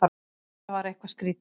Þetta var eitthvað skrýtið.